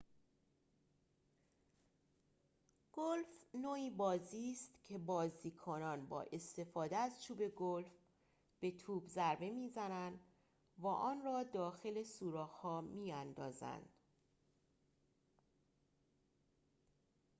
گلف نوعی بازی است که بازیکنان با استفاده از چوب گلف به توپ ضربه می‌زنند و آن را داخل سوراخ‌ها می‌اندازند